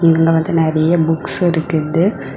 இங்க வந்து நறைய புக்ஸ் இருக்குது.